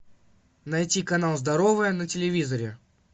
найти канал здоровое на телевизоре